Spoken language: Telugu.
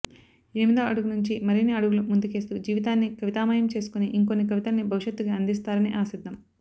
ఎనిమిదో అడుగు నుంచి మరిన్ని అడుగులు ముందుకేస్తూ జీవితాన్ని కవితామయం చేసుకొని ఇంకొన్ని కవితల్ని భవిష్యత్తుకి అందిస్తారని ఆశిద్దాం